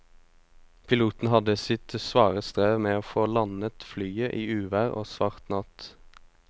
Piloten hadde sitt svare strev med å få landet flyet i uvær og svart natt.